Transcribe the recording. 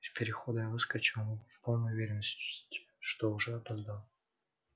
из перехода я выскочил в полной уверенности что уже опоздал